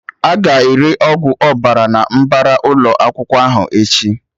Aga ere Ọgwụ Ọbara na mbara ụlọ akwụkwọ ahụ echi